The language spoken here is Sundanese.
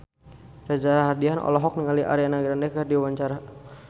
Reza Rahardian olohok ningali Ariana Grande keur diwawancara